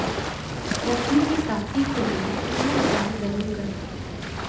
लक्ष्मी की प्राप्ति के लिए यह उपाय जरूर करें